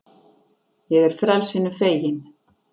Ég er frelsinu fegin.